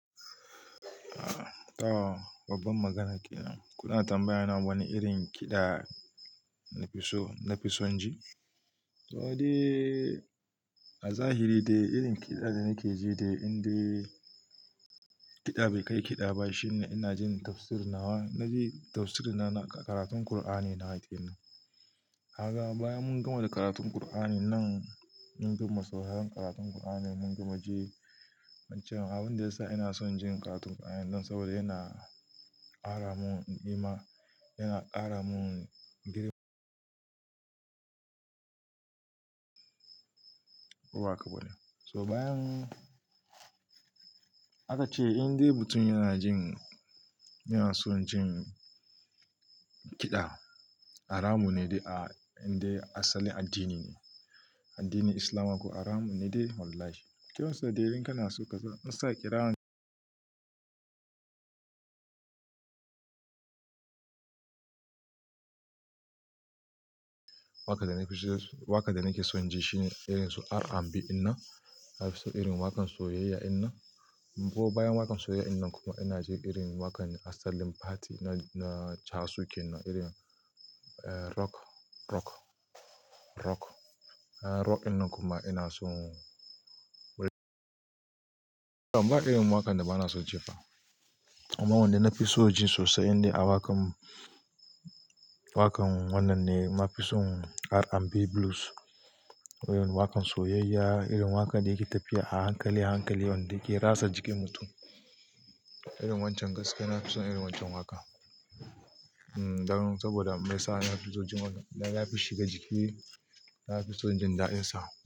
Ah ta, babban magana kenan. Kuna tambayyana wani irin kiɗa na fi so, na fi son ji? To dai, a zahiri dai irin kiɗa da nake ji dai indai kiɗa bai kai kiɗa ba shine ina jin tafsirin nawa, naji tafsirin na karatun Kur'ani nawa kenan. Haka bayan mun gama da karatun Kur'ani nan mun gama sauyan karatun Kur'ani mun gama ji wancan. Abin da ya sa ina son jin karatun Kur'ani don saboda yana ƙara mun iman, yana ƙara mun girma. Waƙa bane. To bayan haka ce indai mutum yana jin, yana son jin kiɗa. Ara mu ne dai a indai asalin addini ne, addinin Islama ko ara mu ne dai holaye. Kuma sai dai irin kana so ka sa, in sa kira. Waƙa da na fi so waƙa da nake son ji shine irin su R&B inna, na fi so irin waƙan soyayya inna. Bo bayan waƙan soyayya inna kuma ina je irin waƙan asalin party na, na Chawashuke nan irin rock, rock, rock. Rock in nan kuma ina so Baɗi ma irin waƙan da bana son ji fa. Amma wanda na fi so ji sosai ne a waƙan, waƙan wannan ne na fi son R&B blues. Irin waƙan soyayya, irin waƙan da yake tafiya a hankale, hankale wanda yake rasa jikin mutum. Irin wancan gaske na fi son irin wancan waƙan. Hmmm dan saboda mai sa na fi so jin wakan, yana fi shega jiki, na fi son jin ɗayansa.